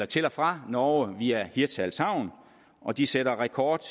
til og fra norge via hirtshals havn og de satte rekord